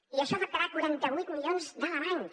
i això afectarà quaranta vuit milions d’alemanys